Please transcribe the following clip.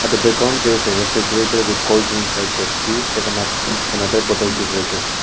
at the background there is a refrigerator with coldrinks like pepsi seven up and other bottle beverages.